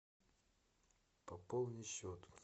пополни счет